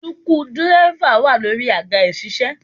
Suku dírẹ́fà wà lórí àga ìṣiṣẹ́